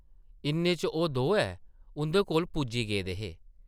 इन्ने च ओह् दोऐ उंʼदे कोल पुज्जी गेदे हे ।